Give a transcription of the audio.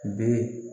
Bɛ